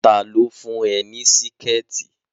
Tá lo fún ẹ ní Síkẹ̀tí!